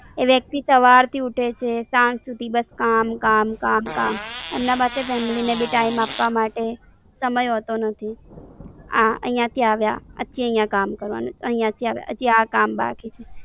એ વ્યક્તિ સવારથી ઉઠે છે, સાંજ સુધી બસ કામ કામ કામ કામ. એમના પાસે Family ને બી Time આપવા માટે સમય હોતો નથી, આ I I થી આવ્યા, આજથી અઇયા કામ કરવાનું, ઐયાથી આવ્યા, હજી આ કામ બાકી છે.